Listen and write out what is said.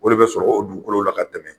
O de be sɔrɔ o dugukolo la ka tɛmɛ